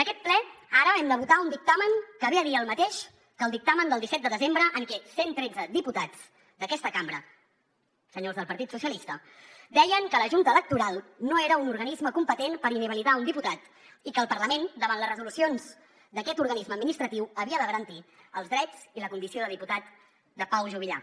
en aquest ple ara hem de votar un dictamen que ve a dir el mateix que el dictamen del disset de desembre en què cent tretze diputats d’aquesta cambra senyors del partit socialista deien que la junta electoral no era un organisme competent per inhabilitar un diputat i que el parlament davant les resolucions d’aquest organisme administratiu havia de garantir els drets i la condició de diputat de pau juvillà